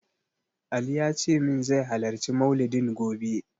Ali yace min zai halarci maulidin gobe.